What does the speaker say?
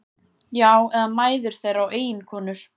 Já, eða mæður þeirra og eiginkonur.